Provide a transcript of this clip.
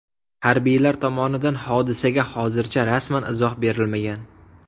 Harbiylar tomonidan hodisaga hozircha rasman izoh berilmagan.